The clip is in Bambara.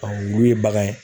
wulu ye bagan ye